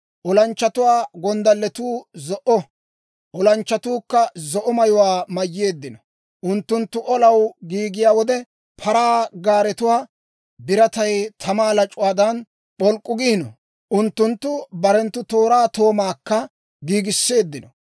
Olanchchatuwaa gonddallatuu zo'o; olanchchatuukka zo'o mayuwaa mayyeeddino. Unttunttu olaw giigiyaa wode, paraa gaaretuwaa biratay tamaa lac'uwaadan p'olk'k'u giino; unttunttu barenttu tooraa toomaakka giigiseeddino.